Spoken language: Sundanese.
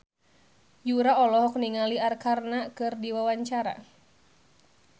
Yura olohok ningali Arkarna keur diwawancara